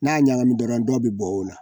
N'a ɲagami dɔrɔn dɔ be bɔ o la.